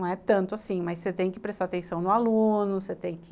Não é tanto assim, mas você tem que prestar atenção no aluno, você tem que...